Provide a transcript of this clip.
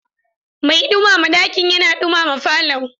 Mai ɗumama dakin yana ɗumama falon.